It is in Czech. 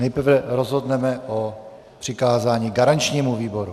Nejprve rozhodneme o přikázání garančnímu výboru.